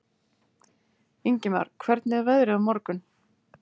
Ingimar, hvernig er veðrið á morgun?